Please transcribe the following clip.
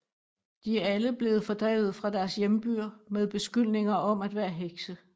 De er alle blevet fordrevet fra deres hjembyer med beskyldninger om at være hekse